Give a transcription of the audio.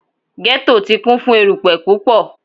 Ghetto ti kun fun erupẹ pupọ